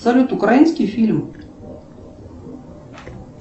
салют украинский фильм